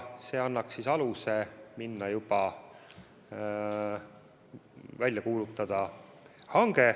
See annaks aluse juba hange välja kuulutada.